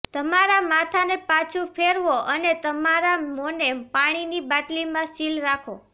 તમારા માથાને પાછું ફેરવો અને તમારા મોંને પાણીની બાટલીમાં સીલ રાખો